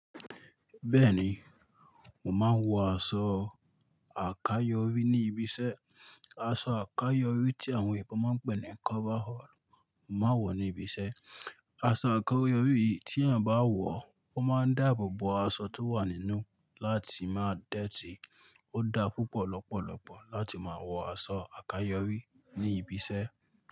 Bẹ́ẹ̀ni, mo máa ń wọ aṣọ àkayọrí ní ibi iṣẹ́. Aṣọ àkayọrí tí àwọn ebò máa ń pè ní "coverall" mo máa ń wọ̀ ní ibi iṣẹ́. Aṣọ àkayọrí tí èèyàn bá wọ̀ ó máa ń dáàbò bo aṣọ tó wà nínú láti máa dọ̀tí. Ó dá púpọ̀ lọ́pọ̀lọ́pọ̀ láti máa wọ aṣọ àkayọrí ní ibi iṣẹ́.